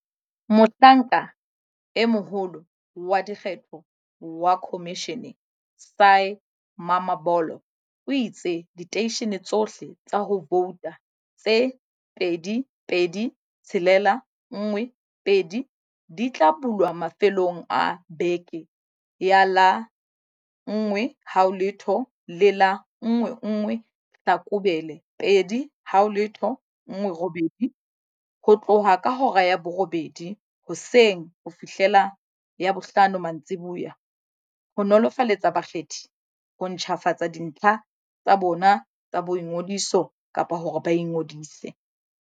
Mohlanka e Moholo wa Dikgetho wa khomishene, Sy Mamabolo, o itse diteishene tsohle tsa ho vouta tse 22 612 di tla bulwa mafelong a beke ya la 10 le la 11 Hlakubele 2018, ho tloha ka hora ya borobedi hoseng ho fihlela ya bohlano mantsiboya, ho nolofaletsa bakgethi ho ntjhafatsa dintlha tsa bona tsa boingodiso kapa hore ba ingodise.